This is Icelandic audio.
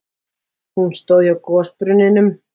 Hún stóð hjá gosbrunninum.